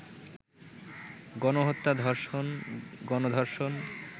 গণহত্যা, ধর্ষণ, গণ-ধর্ষণ